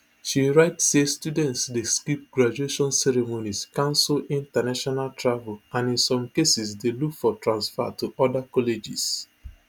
she write say students dey skip graduation ceremonies cancel international travel and in some cases dey look for transfer to oda colleges